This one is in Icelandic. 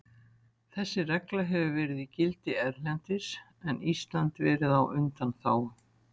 Þessi regla hefur verið í gildi erlendis en Ísland verið á undanþágu.